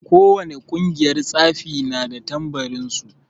Ko wane ƙungiyar tsafi na da tambarin su.